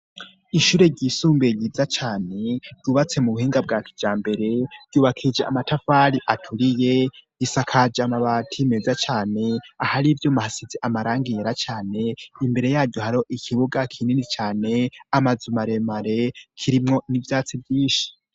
Ishure ryisumbuye ryiza cane ryubatse mu buhinga bwa kijambere ryubakishije amatafari aturiye, risakaje amabati meza cane ahari ivyuma hasize amarangi meza cane; imbere yaryo hariho ikibuga kinini cane amazu maremare, kirimwo n'ivyatsi vyinshi.